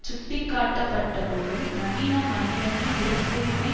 சுட்டி காட்டப்பட்டபோதும் நவீன மனிதனின் பிறப்புரிமை